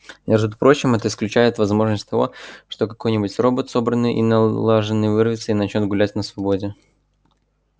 между прочим это исключает возможность того что какой-нибудь робот собранный и налаженный вырвется и начнёт гулять на свободе